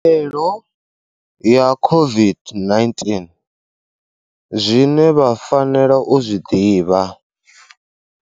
Khaelo ya COVID-19, zwine vha fanela u zwi ḓivha.